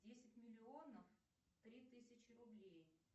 десять миллионов три тысячи рублей